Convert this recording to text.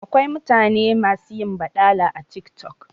Akwai mutane masu yin baɗala a TikTok